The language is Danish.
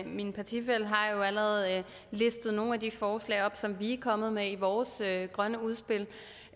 min partifælle har jo allerede listet nogle af de forslag op som vi er kommet med i vores grønne udspil